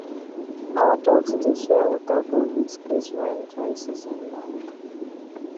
our ducks dey share water bowl with geese when dry season land